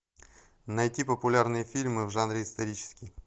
найти популярные фильмы в жанре исторический